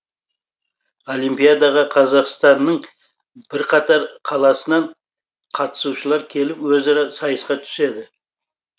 олимпиадаға қазақстанның бірқатар қаласынан қатысушылар келіп өзара сайысқа түседі